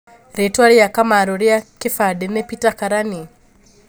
Ritwa rĩa Kamaru ria kĩbandĩ nĩ Peter Karani